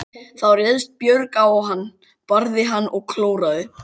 Þá réðst Björg á hann, barði hann og klóraði.